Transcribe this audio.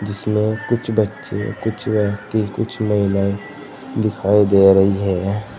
जिसमें कुछ बच्चे कुछ व्यक्ति कुछ महिलाएं दिखाई दे रही हैं।